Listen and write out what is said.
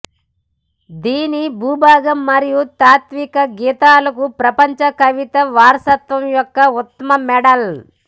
దీని భూభాగం మరియు తాత్విక గీతాలకు ప్రపంచ కవితా వారసత్వం యొక్క ఉత్తమ మోడల్